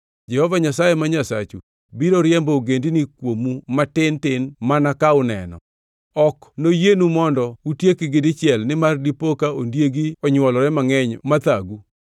Jehova Nyasaye ma Nyasachu biro riembo ogendinigo kuomu matin tin mana ka uneno. Ok noyienu mondo utiekgi dichiel nimar dipo ka ondiegi onywolore mangʼeny mathagu.